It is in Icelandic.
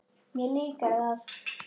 Mér líkar það.